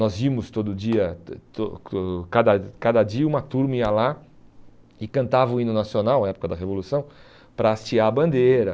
Nós íamos todo dia, cada cada dia uma turma ia lá e cantava o hino nacional, na época da Revolução, para hastear a bandeira.